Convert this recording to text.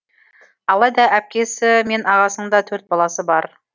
алайда әпкесі мен ағасында төрт баласы бар